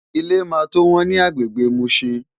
Ilé máa tó wọ́n ní agbègbè Mushin.